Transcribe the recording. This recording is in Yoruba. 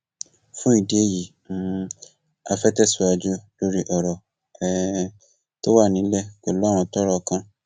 fún ìdí èyí um á fẹẹ tẹsíwájú lórí ọrọ um tó wà nílẹ pẹlú àwọn tọrọ kàn